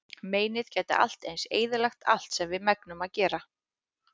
Meinið gæti allt eins eyðilagt allt sem við megnum að gera.